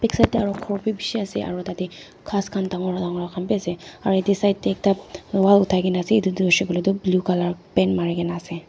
side dae aro khor bi bishi asae aro tadae khas kan dangor dangor khan bi asae aro yadae side dae ekta wall oh dai kina asae etu tho hoisahe koilae toh blue colour paint marikina asae.